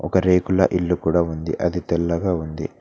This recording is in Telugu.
ఒక రేకుల ఇల్లు కూడా ఉంది అది తెల్లగా ఉంది.